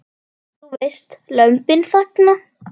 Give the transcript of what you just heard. Þú veist, Lömbin þagna.